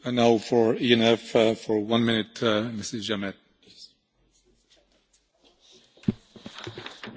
Monsieur le Président, mes chers collègues, 21 points divers et variés sont égrenés dans cette proposition de résolution.